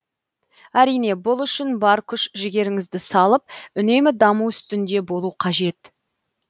әрине бұл үшін бар күш жігеріңізді салып үнемі даму үстінде болу қажет